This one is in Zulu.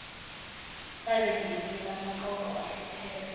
babengelinye lamaqoqo ahlupheka